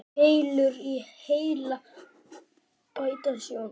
Keilur í heila bæta sjón.